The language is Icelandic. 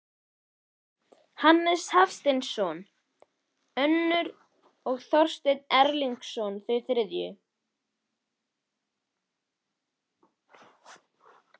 Hannes Hafstein önnur og Þorsteinn Erlingsson þau þriðju.